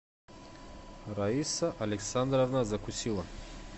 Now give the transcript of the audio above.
раиса александровна закусило